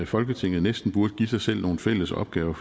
folketinget næsten burde give sig selv nogle fælles opgaver